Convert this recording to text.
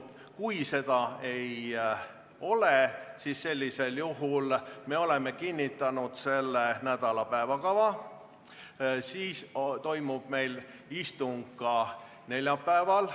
Kui seda ei ole, siis sellisel juhul me oleme kinnitanud selle nädala päevakava ja istung toimub ka neljapäeval.